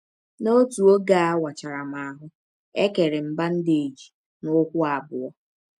N’ọtụ ọge a wachara m ahụ́, e kere m bandeeji n’ụkwụ abụọ.